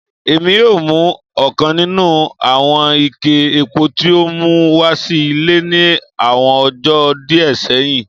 Èmi o mu ọ̀kan nínú àwọn ike epo tí o mú wá sí ile ní àwọn ọjó díẹ séhìn